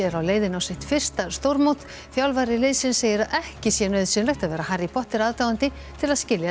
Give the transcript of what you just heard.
er á leiðinni á sitt fyrsta stórmót þjálfari liðsins segir að ekki sé nauðsynlegt að vera Harry Potter aðdáandi til að skilja